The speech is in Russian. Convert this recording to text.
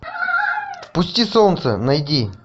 впусти солнце найди